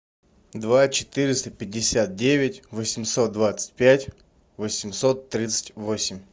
два четыреста пятьдесят девять восемьсот двадцать пять восемьсот тридцать восемь